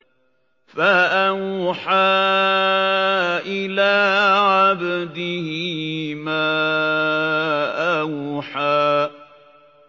فَأَوْحَىٰ إِلَىٰ عَبْدِهِ مَا أَوْحَىٰ